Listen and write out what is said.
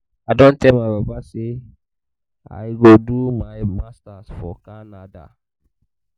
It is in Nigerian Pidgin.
i don tell my papa say i go do my masters for canada